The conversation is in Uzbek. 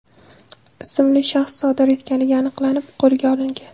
ismli shaxs sodir etganligi aniqlanib, qo‘lga olingan.